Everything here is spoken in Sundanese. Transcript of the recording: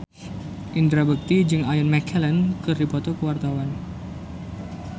Indra Bekti jeung Ian McKellen keur dipoto ku wartawan